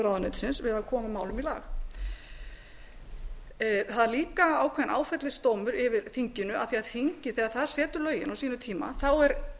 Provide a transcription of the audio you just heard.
ráðuneytisins við að koma málum í lag það er líka ákveðinn áfellisdómur yfir þinginu af því þingið þegar það setur lögin á sínum tíma er